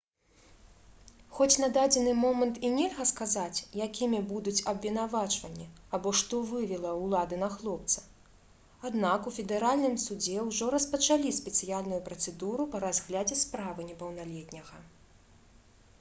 хоць на дадзены момант і нельга сказаць якімі будуць абвінавачванні або што вывела ўлады на хлопца аднак у федэральным судзе ўжо распачалі спецыяльную працэдуру па разглядзе справы непаўналетняга